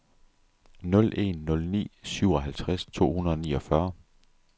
nul en nul ni syvoghalvtreds to hundrede og niogfyrre